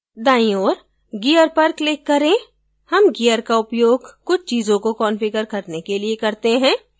दाईं ओर gear पर click करें हम gear का उपयोग कुछ चीजों को कंफिगर करने के लिए करते हैं